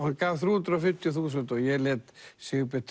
hann gaf þrjú hundruð og fimmtíu þúsund og ég lét Sigurbjörn